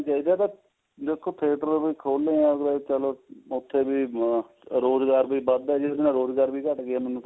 ਹੈ ਦੇਖੋ theater ਵੀ ਖੁੱਲੇ ਆ ਚਲੋ ਉੱਥੇ ਵੀ ਰੋਜ਼ਗਾਰ ਵੀ ਵਧ ਦਾ ਜਿਹਦੇ ਨਾਲ ਰੋਜ਼ਗਾਰ ਵੀ ਘਟ ਗਿਆ